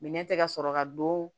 Minɛ tɛ ka sɔrɔ ka don